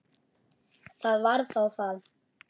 Það var þá það.